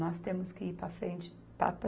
Nós temos que ir para frente, para a pre